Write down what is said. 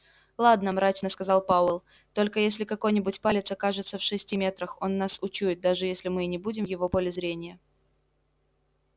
ладно мрачно сказал пауэлл только если какой-нибудь палец окажется в шести метрах он нас учует даже если мы и не будем в его поле зрения